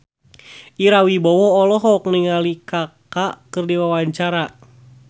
Ira Wibowo olohok ningali Kaka keur diwawancara